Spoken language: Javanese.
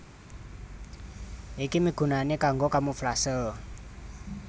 Iki migunani kanggo kamuflase